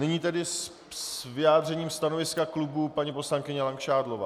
Nyní tedy s vyjádřením stanoviska klubu paní poslankyně Langšádlová.